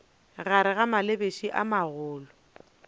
gare ga malebiša a magolo